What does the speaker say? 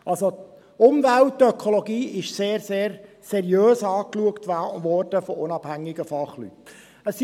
Die Themen Umwelt und Ökologie wurden von unabhängigen Fachleuten sehr, sehr seriös angeschaut.